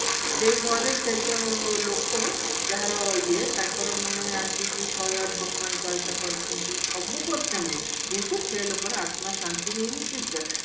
ସେ ଘରେ ସେ ଯଉ ଲୋକ ଯାହାର ଇଏ ତାଙ୍କର ମାନେ ଆସିକି ମାନେ ଶହେ ଆଠ ହନୁମାନ ଚାଳିଶା କରୁଛନ୍ତି ସବୁ କରୁଛନ୍ତି କିନ୍ତୁ ସେ ଲୋକର ଆତ୍ମା ଶାନ୍ତି ହେଇନି ସେ ଯାହା